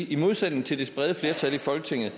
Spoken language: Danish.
i modsætning til det brede flertal i folketinget